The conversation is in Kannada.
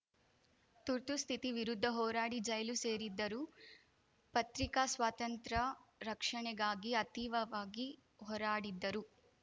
ತುರ್ತುಸ್ಥಿತಿ ವಿರುದ್ಧ ಹೋರಾಡಿ ಜೈಲು ಸೇರಿದ್ದರು ಪತ್ರಿಕಾ ಸ್ವಾತಂತ್ರ್ಯ ರಕ್ಷಣೆಗಾಗಿ ಅತೀವವಾಗಿ ಹೋರಾಡಿದ್ದರು